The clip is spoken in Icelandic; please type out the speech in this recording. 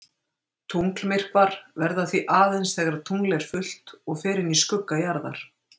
Tunglmyrkvar verða því aðeins þegar tungl er fullt og fer inn í skugga jarðar.